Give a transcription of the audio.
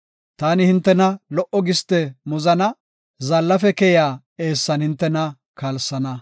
Taani hintena lo77o giste muzana; zaallafe keyiya eessan hintena kalsana.”